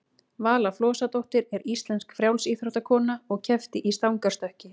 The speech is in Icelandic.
vala flosadóttir er íslensk frjálsíþróttakona og keppti í stangarstökki